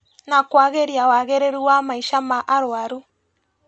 Na kwagĩria wagĩrĩru wa maica ma arũaru